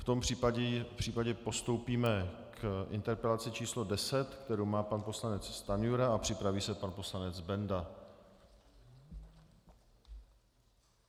V tom případě postoupíme k interpelaci číslo 10, kterou má pan poslanec Stanjura, a připraví se pan poslanec Benda.